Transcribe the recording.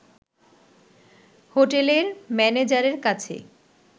হোটেলের ম্যানেজারের কাছে